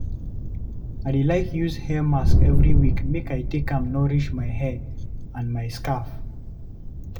I dey like use hair mask every week make I take am nourish my hair and my scalp.